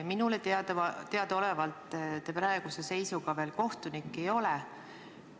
Minule teadaolevalt te praeguse seisuga veel kohtunik ei ole.